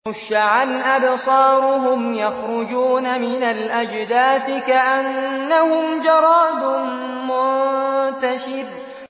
خُشَّعًا أَبْصَارُهُمْ يَخْرُجُونَ مِنَ الْأَجْدَاثِ كَأَنَّهُمْ جَرَادٌ مُّنتَشِرٌ